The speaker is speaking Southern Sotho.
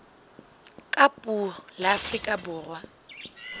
ka puo la afrika borwa